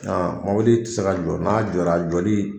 Aa mɔbili te se ka jɔ. N'a jɔra , a jɔli